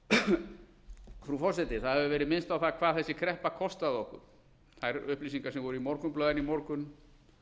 nágrannalöndunum frú forseti það hefur verið minnst á það hvað þessi kreppa kostaði okkur þær upplýsingar sem voru í morgunblaðinu í morgun